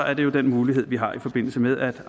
er det jo den mulighed vi har i forbindelse med at